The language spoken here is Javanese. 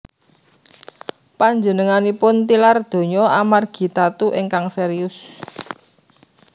Panjenenganipun tilar donya amargi tatu ingkang serius